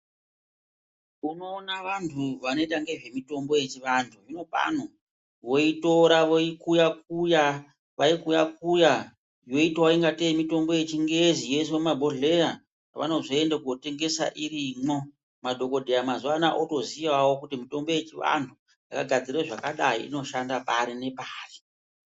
Unoona vanhu vanooita ngezve mitombo yechivanhu zvino pano voitora voikuyakuya vaikuya kuya yoitawo ingatei mitombo yechingezi yoiswe mumabhohleya kwavanozoende kunotengesa irimwo madhokodheya mazuwa anaya votoziyavo kuti mitombo yechivanhu yakagadzirwe zvakadai inoshanda pari nepari.